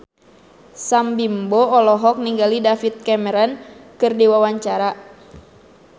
Sam Bimbo olohok ningali David Cameron keur diwawancara